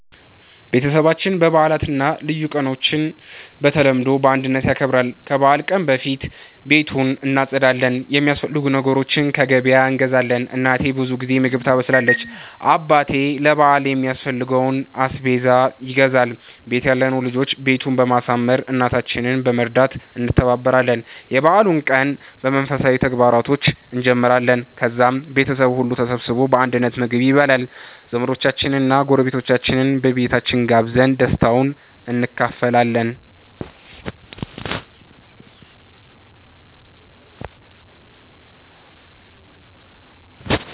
ቤተሰባችን በዓላትን እና ልዩ ቀኖችን በተለምዶ በአንድነት ያከብራል። ከበዓል ቀን በፊት ቤቱን እናጸዳለን፣ የሚያስፈልጉ ነገሮችን ከገበያ እንገዛለን። እናቴ ብዙ ጊዜ ምግብ ታበስላለች፣ አባቴ ለ በአል የሚያስፈልገውን አስቤዛ ይገዛል፣ ቤት ያለነው ልጆች ቤቱን በማሳመር፣ እናታችንን በመርዳት እንተባበራለን። የበዓሉን ቀን በመንፈሳዊ ተግባራቶች እንጀምራለን፣ ከዛም ቤተሰቡ ሁሉ ተሰብስቦ በአንድነት ምግብ ይበላል። ዘመዶቻችንን እና ጎረቤቶቻችንን በቤታችን ጋብዘን ደስታውን እንካፈላለን።